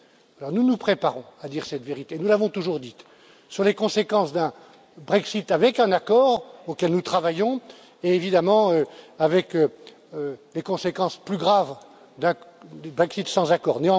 Alors nous nous préparons à dire cette vérité, nous l'avons toujours dite, sur les conséquences d'un Brexit avec un accord auquel nous travaillons et, évidemment avec des conséquences plus graves, d'un Brexit sans accord.